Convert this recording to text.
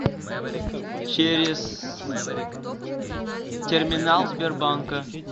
через терминал сбербанка